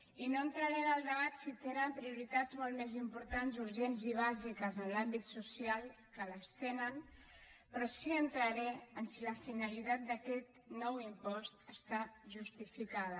i no entraré en el debat si tenen prioritats molt més importants urgents i bàsiques en l’àmbit social que les tenen però sí que entraré en si la finalitat d’aquest nou impost està justificada